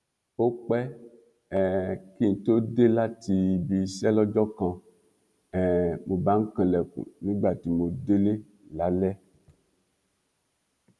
ó pẹ um kí n tóó dé láti ibi iṣẹ lọjọ kan um mo bá ń kanlẹkùn nígbà tí mo délé lálẹ